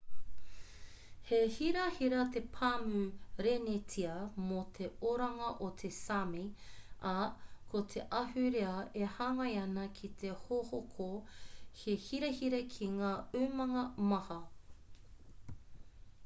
he hirahira te pāmu renetia mō te oranga o te sāmi ā ko te ahurea e hāngai ana ki te hohoko he hirahira ki ngā umanga maha